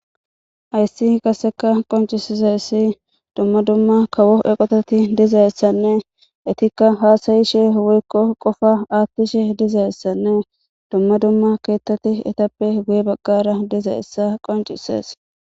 Hayssi kasseka qoncisizayssi dumma dumma kawo eqotati dizayessanne itikka haasayishe woykko qofa aattishe dizayessanne dumma dumma keettati etappe guye baggara dizayessa qoncisees